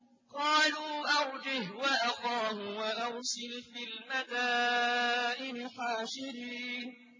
قَالُوا أَرْجِهْ وَأَخَاهُ وَأَرْسِلْ فِي الْمَدَائِنِ حَاشِرِينَ